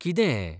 कितें हैं?